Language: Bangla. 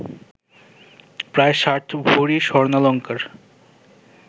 প্রায় ষাট ভরি স্বর্ণালঙ্কার